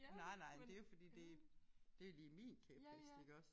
Nej nej men det jo fordi det det jo lige min kæphest iggås